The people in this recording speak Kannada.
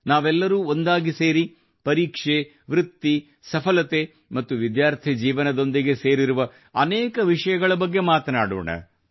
ನಾವೆಲ್ಲರೂ ಒಂದಾಗಿ ಸೇರಿ ಪರೀಕ್ಷೆ ವೃತ್ತಿ ಸಫಲತೆ ಮತ್ತು ವಿದ್ಯಾರ್ಥಿ ಜೀವನದೊಂದಿಗೆ ಸೇರಿರುವ ಅನೇಕ ವಿಷಯಗಳ ಬಗ್ಗೆ ಮಾತನಾಡೋಣ